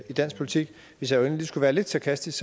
dansk politik hvis jeg endelig skulle være lidt sarkastisk